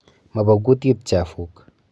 Mo bo kutit chafuk.